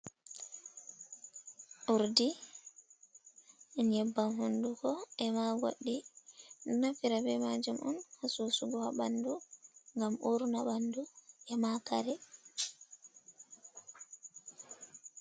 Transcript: Uurdi nyebbam honduko e maa goɗɗi, naftiraa bee maajum on ha suusugo haa ɓanndu ngam urna ɓanndu e maa kare.